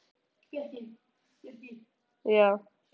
Hann sagði mér margt af störfum sínum og áhugamálum.